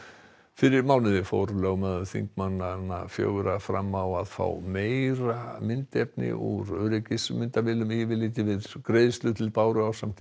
fyrir mánuði fór lögmaður þingmanna fjögurra svo fram á að fá meira myndefni úr öryggismyndavélum yfirlit yfir greiðslur til Báru ásamt